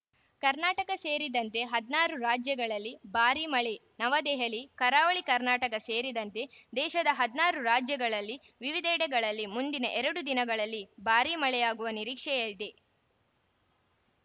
ಕರ್ನಾಟಕ ಸೇರಿದಂತೆ ಹದಿನಾರು ರಾಜ್ಯಗಳಲ್ಲಿ ಭಾರಿ ಮಳೆ ನವದೆಹಲಿ ಕರಾವಳಿ ಕರ್ನಾಟಕ ಸೇರಿದಂತೆ ದೇಶದ ಹದಿನಾರು ರಾಜ್ಯಗಳ ವಿವಿಧೆಡೆಗಳಲ್ಲಿ ಮುಂದಿನ ಎರಡು ದಿನಗಳಲ್ಲಿ ಭಾರಿ ಮಳೆಯಾಗುವ ನಿರೀಕ್ಷೆಯಿದೆ